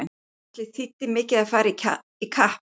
Ætli þýddi mikið að fara í kapp!